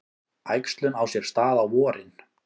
Æxlun á sér stað á vorin.